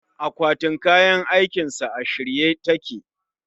Akwatin kayan aikinsa a shirye take